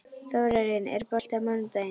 Þórarinn, er bolti á mánudaginn?